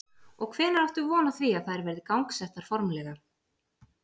Og hvenær áttu von á því að þær verði gangsettar formlega?